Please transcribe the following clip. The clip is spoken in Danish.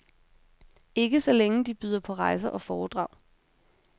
Ikke så længe de byder på rejser og foredrag.